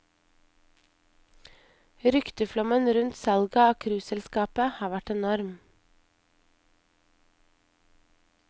Rykteflommen rundt salget av cruiseselskapet har vært enorm.